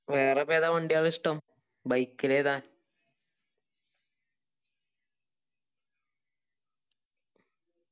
വേറെ ഇപ്പാ ഏതാ വണ്ടികള് ഇഷ്ട്ടം bike ല് ഏതാ